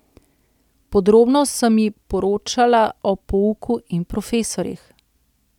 Podrobno sem ji poročala o pouku in profesorjih.